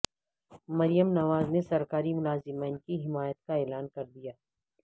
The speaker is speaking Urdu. مریم نواز نے سرکاری ملازمین کی حمایت کا اعلان کردیا